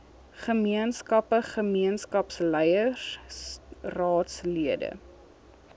gemeenskappe gemeenskapsleiers raadslede